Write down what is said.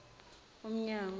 umnyango